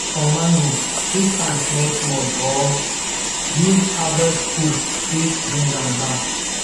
for mango twist am small small or use harvest hook take bring am down